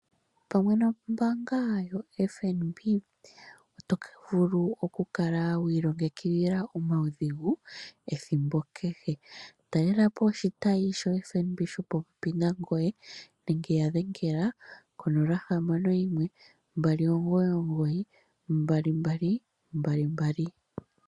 Pamwe nombaanga yo FNB oto vulu okukala wi ilongekidhila omaudhigu ethimbo kehe . Talelapo oshitayi sho FNB shopopepi nangoye nenge ya dhengela ko 0612992222